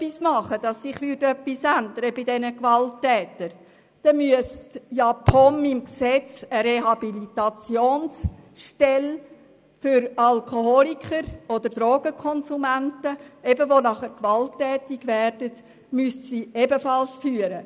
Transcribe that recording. Wenn man schon etwas unternehmen wollte, damit sich bei diesen Gewalttätern etwas ändert, müsste die POM im Gesetz logischerweise auch eine Rehabilitationsstelle für Alkoholiker oder Drogenkonsumenten, die gewalttätig werden, führen.